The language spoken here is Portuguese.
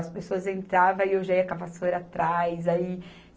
As pessoas entravam e eu já ia com a vassoura atrás. Aí